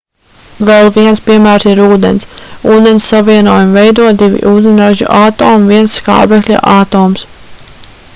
vēl viens piemērs ir ūdens ūdens savienojumu veido divi ūdeņraža atomi un viens skābekļa atoms